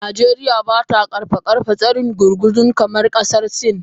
Najeriya ba ta karfafa tsarin gurguzu kamar kasar Sin.